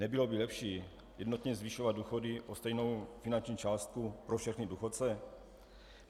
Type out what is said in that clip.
Nebylo by lepší jednotně zvyšovat důchody o stejnou finanční částku pro všechny důchodce?